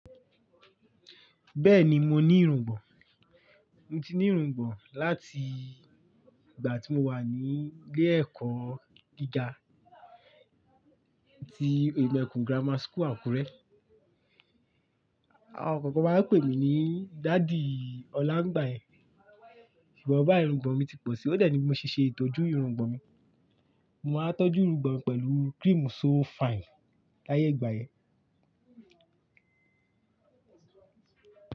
Bẹ́ẹ̀ni mo ní irungbọ̀n, mo ti ní irungbọ̀n láti ìgbà tí mo wà ní ilé ẹ̀kọ́ gíga ti Oyemekun Grammar School Akure. Àwọn kan má ń pè mí ní Daddy Ọlá ǹi ìgbà yẹn. Ṣùgbọ́n, bá i irungbọ̀n mi ti pọ̀ si, ó de ní bí mo ṣe ṣètójú irungbọ̀n mi. Mo máa ń tọ́jú irungbọ̀n pẹ̀lú cream So Fine láyé ìgbà yẹn.